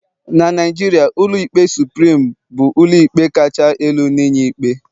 na Naijiria, ụlọikpe supirim bu ụlọikpe kacha elu inye ikpe